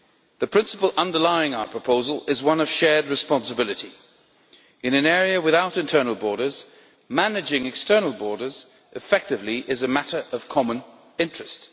The principle underlying our proposal is one of shared responsibility. In an area without internal borders, managing external borders effectively is a matter of common interest.